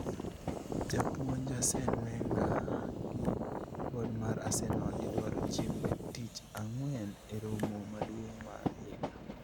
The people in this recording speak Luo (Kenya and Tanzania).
japuonj Arsene Wenger gi bod mar Arsenal idwaro chieng' tich ang'wen e romo maduong' mar higa